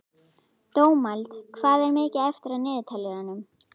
Dómald, hvað er mikið eftir af niðurteljaranum?